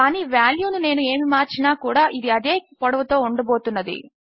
కానీ వాల్యూ ను నేను ఏమి మార్చినా కూడా ఇది అదే పొడవుతో ఉండబోతున్నది